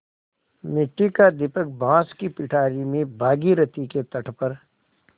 मिट्टी का दीपक बाँस की पिटारी में भागीरथी के तट पर